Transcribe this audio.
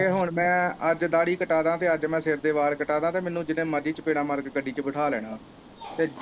ਨਹੀਂ ਹੁਣ ਮੈਂ ਅੱਜ ਦਾੜੀ ਕਟਾਦਾ ਤੇ ਅੱਜ ਮੈਂ ਸਿਰ ਦੇ ਵਾਲ ਕਟਾਦਾ ਤੇ ਮੈਨੂੰ ਜਿੰਨੇ ਮਰਜ਼ੀ ਚਪੇੜਾਂ ਮਾਰ ਕ ਗੱਡੀ ਚ ਬਿਠਾ ਲੈਣਾ ਤੇ ਜੇ